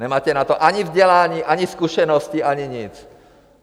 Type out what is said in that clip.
Nemáte na to ani vzdělání, ani zkušenosti, ani nic!